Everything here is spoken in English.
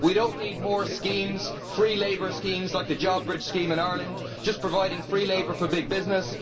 We do not need more schemes free labour schemes like the JobBridge scheme in Ireland just providing free labour for big business.